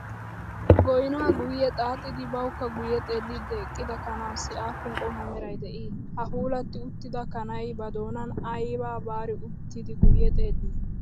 Goyinaa guyye xaaxidi bawukka guyye xeelliiddi eqqida kanaassi aappun qommo meray de'ii? Ha puulatti uttida kanayi badoonan ayibaa baari uttidi guyye xeellii?